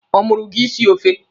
Ọ mụ si gị sie ofe?